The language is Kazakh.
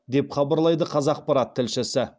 деп хабарлайды қазақпарат тілшісі